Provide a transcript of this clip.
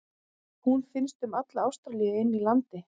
Hún finnst um alla Ástralíu inni í landi.